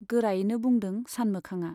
गोरायैनो बुंदों सानमोखांआ।